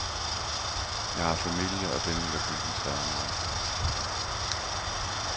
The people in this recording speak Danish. Jeg har familie, og den vil jeg koncentrere mig om.